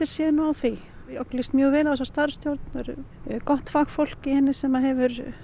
séu nú á því okkur líst mjög vel á þessa starfsstjórn það er gott fagfólk í henni sem hefur